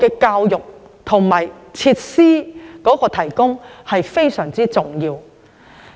教育和提供設施才是最重要的。